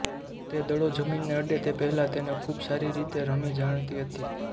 તે દડો જમીનને અડે તે પહેલાં તેને ખૂબ સારી રીતે રમી જાણતી હતી